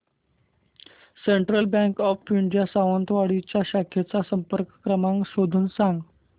central bank of India Sawantwadi च्या शाखेचा संपर्क क्रमांक शोधून सांग